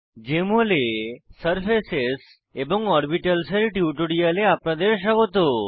JML এ surfaces এবং orbitals এর টিউটোরিয়ালে আপনাদের স্বাগত